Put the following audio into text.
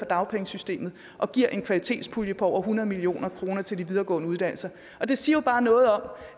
dagpengesystemet og giver en kvalitetspulje på over hundrede million kroner til de videregående uddannelser det siger jo bare noget om